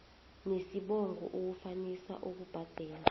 nesibongo ukufanisa ukubhadela